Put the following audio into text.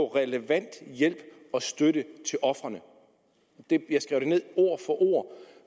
relevant hjælp og støtte til ofrene jeg skrev det ned ord for ord